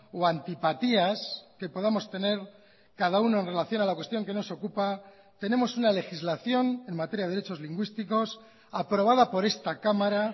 o antipatías que podamos tener cada uno en relación a la cuestión que nos ocupa tenemos una legislación en materia de derechos lingüísticos aprobada por esta cámara